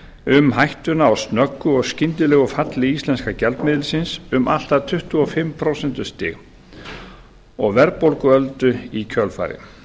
um hættuna á snöggu og skyndilegu falli íslenska gjaldmiðilsins um allt að tuttugu og fimm prósent og verðbólguöldu í kjölfarið